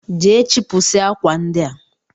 Jee chịpụsịa akwa ndị a!